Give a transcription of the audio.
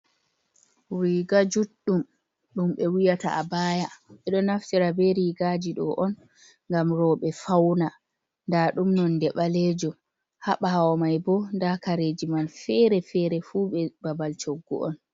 "Riga" juɗɗum ɗum ɓe wiyata abaya ɓeɗo naftira ɓe rigaji ɗo on ngam roɓe fauna nda ɗum nonde ɓalejum ha bawo mai bo nɗa kareji man fere fere fu ɓe babal choggu on.